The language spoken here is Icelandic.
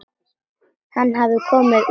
Hann hafði komið úr